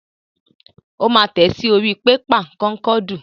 Ó máa tẹ̀ ẹ́ sí orí pépà kọ́ńkọ́ọ̀dù.